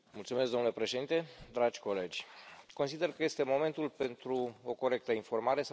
Domnule președinte, dragi colegi, consider că este momentul pentru o corectă informare.